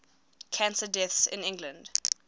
cancer deaths in england